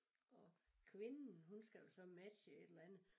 Og kvinden hun skal jo så matche et eller andet